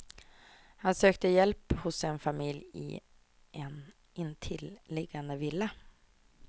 Han sökte hjälp hos en familj i en intilliggande villa.